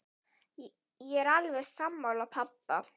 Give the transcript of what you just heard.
Ég er alveg sammála pabba.